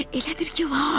Elədir ki var.